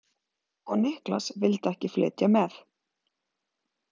Og Niklas vildi ekki flytja með?